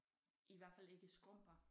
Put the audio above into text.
I hvert fald ikke skrumper